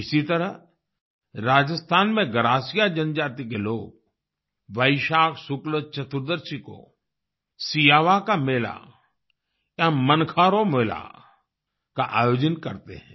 इसी तरह राजस्थान में गरासिया जनजाति के लोग वैशाख शुक्ल चतुर्दशी को सियावा का मेला या मनखां रो मेला का आयोजन करते हैं